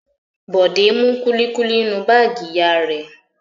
Bọ̀dé mú kúlíkúlí nínú báágì ìyá rẹ̀.